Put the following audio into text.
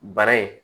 Bara in